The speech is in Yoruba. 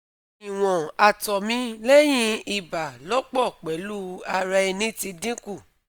Iwon ato mi lehin iba lopo pelu ara eni ti dinku